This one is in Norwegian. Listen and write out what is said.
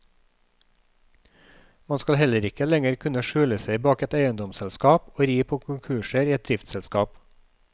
Man skal heller ikke lenger kunne skjule seg bak et eiendomsselskap og ri på konkurser i et driftsselskap.